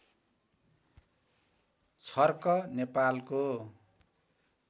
छर्क नेपालको